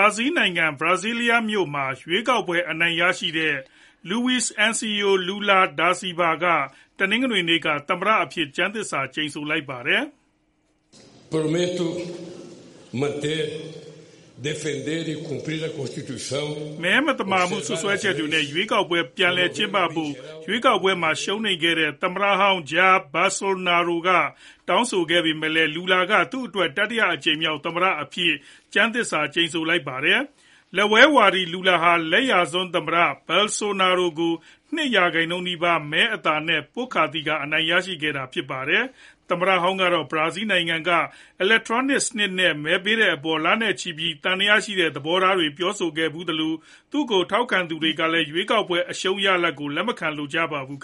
ာဇီးနိုင်ငံ Brasilia မြို့တော်မှာ ရွေးကောက်ပွဲ အနိုင်ရရှိတဲ့ Luiz Inacio Lula Da Silva က တနင်္ဂနွေနေ့က သမ္မတအဖြစ် ကျမ်းသစ္စာ ကျိန်ဆိုလိုက်ပါတယ်။ မဲ မသမာမှု စွပ်စွဲချက်နဲ့ ရွေးကောက်ပွဲ ပြန်လည် ကျင်းပပေးဖို့ ရွေးကောက်ပွဲမှာ ရှုံးနိမ့်ခဲ့တဲ့ သမ္မတဟောင်း Jair Bolsonaro က တောင်းဆိုခဲ့ပေမဲ့လည်း Lula က သူအတွက် တတိယအကြိမ်မြောက် သမ္မတ အဖြစ် ကျမ်းသစ္စာ ကျိန်ဆိုလိုက်တာဖြစ်ပါတယ်။ လက်ဝဲဝါဒီ Lula ဟာ လက်ယျာစွန်း သမ္မတ Bolsonaro ကို ၂ ရာခိုင်နှုန်းနီးပါး မဲအသာနဲ့ ပွတ်ခါသီခါ အနိုင်ရရှိခဲ့တာဖြစ်ပါတယ်။ သမ္မတဟောင်းကတော့ ဘရာဇီးနိုင်ငံက အီလက်ထရောနစ်စနစ်နဲ့ မဲပေးတဲ့အပေါ် လနဲ့ချီပြီး သံသယသဘောထားတွေ ပြောဆိုခဲ့ဖူးသလို၊ သူ့ကို ထောက်ခံသူတွေကလည်း ရွေးကောက်ပွဲ အရှုံးရလဒ်ကို လက်မခံလိုကြပါဘူး။